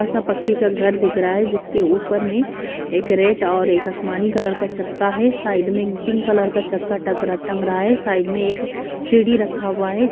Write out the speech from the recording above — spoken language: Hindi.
सोरा पक्के का घर दिख रहा है जिसके ऊपर में एक रेड और एक आसमानी कलर का चक्का है साइड में पिंक कलर का चक्का तंग रा ये साइड में एक सीडी रखा हुआ है।